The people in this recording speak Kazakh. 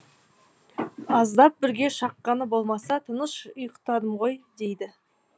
аздап бүрге шаққаны болмаса тыныш ұйықтадым ғой дейді